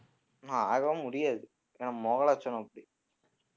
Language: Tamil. ஆகவே முடியாது ஏன்னா முகலட்சணம் அப்படி